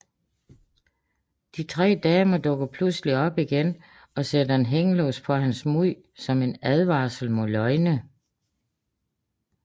De tre damer dukker pludseligt op igen og sætter en hængelås for hans mund som en advarsel mod løgne